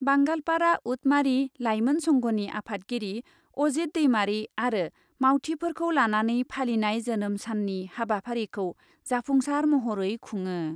बांगालपारा उटमारि लाइमोन संघनि आफादगिरि अजित दैमारी आरो मावथिफोरखौ लानानै फालिनाय जोनोम साननि हाबाफारिखौ जाफुंसार महरै खुङो।